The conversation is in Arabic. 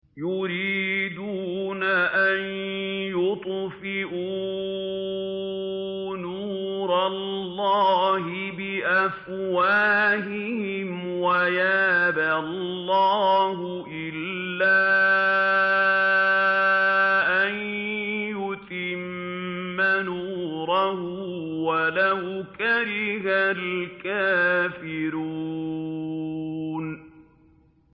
يُرِيدُونَ أَن يُطْفِئُوا نُورَ اللَّهِ بِأَفْوَاهِهِمْ وَيَأْبَى اللَّهُ إِلَّا أَن يُتِمَّ نُورَهُ وَلَوْ كَرِهَ الْكَافِرُونَ